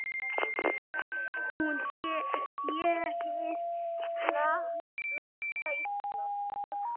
Hún sé hið nakta Ísland.